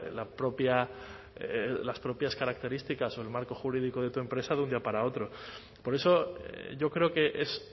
la propia las propias características o el marco jurídico de tu empresa de un día para otro por eso yo creo que es